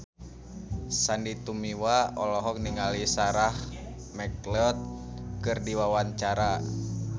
Sandy Tumiwa olohok ningali Sarah McLeod keur diwawancara